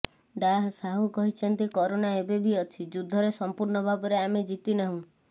ଡାଃ ସାହୁ କହିଛନ୍ତି କରୋନା ଏବେ ବି ଅଛି ଯୁଦ୍ଧ ରେ ସମ୍ପୂର୍ଣ୍ଣ ଭାବରେ ଆମେ ଜିତି ନାହୁଁ